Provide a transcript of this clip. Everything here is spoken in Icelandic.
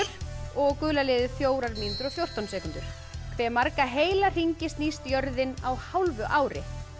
og gula liðið fjórar mínútur og fjórtán sekúndur hve marga heila hringi snýst jörðin á hálfu ári